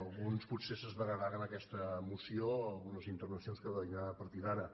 alguns potser s’esveraran amb aquesta moció algunes intervencions que vindran a partir d’ara